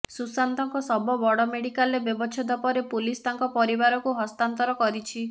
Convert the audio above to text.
ସୁଶାନ୍ତଙ୍କ ଶବ ବଡ଼ ମେଡିକାଲରେ ବ୍ୟବଚ୍ଛେଦ ପରେ ପୁଲିସ ତାଙ୍କ ପରିବାରକୁ ହସ୍ତାନ୍ତର କରିଛି